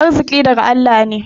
Arziƙi daga Allah ne.